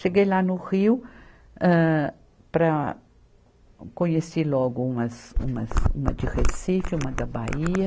Cheguei lá no Rio, âh, para, conheci logo umas, umas, uma de Recife, uma da Bahia.